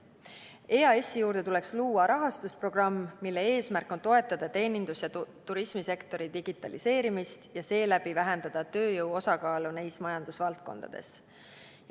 EAS-i juurde tuleks luua rahastusprogramm, mille eesmärk on toetada teenindus- ja turismisektori digitaliseerimist ja seeläbi vähendada tööjõu osakaalu neis majandusvaldkondades.